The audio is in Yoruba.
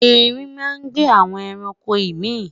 ẹrin má n gbe awọn ẹranko imi